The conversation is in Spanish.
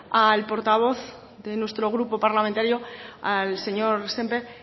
al portavoz de nuestro grupo parlamentario al señor sémper